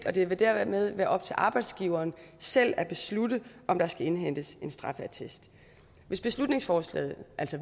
og det vil dermed være op til arbejdsgiveren selv at beslutte om der skal indhentes straffeattest hvis beslutningsforslaget